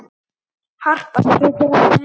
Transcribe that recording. Harpa getur átt við